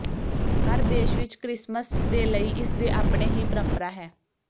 ਹਰ ਦੇਸ਼ ਵਿੱਚ ਕ੍ਰਿਸਮਸ ਦੇ ਲਈ ਇਸ ਦੇ ਆਪਣੇ ਹੀ ਪਰੰਪਰਾ ਹੈ